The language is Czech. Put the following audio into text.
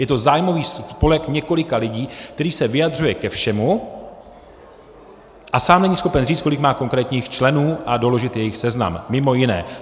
Je to zájmový spolek několika lidí, který se vyjadřuje ke všemu, a sám není schopen říct, kolik má konkrétních členů, a doložit jejich seznam - mimo jiné.